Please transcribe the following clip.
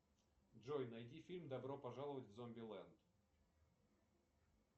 джой найди фильм добро пожаловать в зомбилэнд